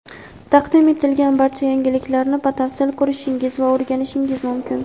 taqdim etilgan barcha yangiliklarni batafsil ko‘rishingiz va o‘rganishingiz mumkin.